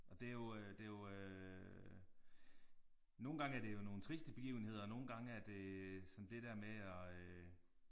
Og det jo øh det jo øh. Nogle gang er det jo nogle triste begivenheder nogle gange er det sådan det der med at øh